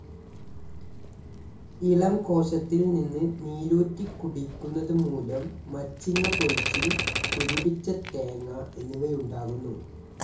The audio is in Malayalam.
ഇളം കോശത്തിൽ നിന്ന് നീരൂറ്റികുടിയ്ക്കുന്നതു മൂലം മച്ചിങ്ങ പൊഴിച്ചിൽ കുരുടിച്ച തേങ്ങ എന്നിവയുണ്ടാകുന്നു.